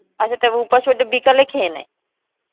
আচ্ছা তাহলে উপাস হতে বিকালে খেয়ে নেয়ে